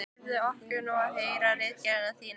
Leyfðu okkur nú að heyra ritgerðina þína!